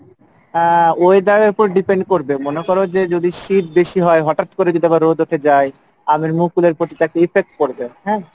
আহ weather এর ওপর depend করবে, মনে করো যে যদি শীত বেশি হয় হটাৎ করে যদি আবার রোদ উঠে যাই, আমের মুকুলের প্রতি তো একটা effect পরবে হ্যাঁ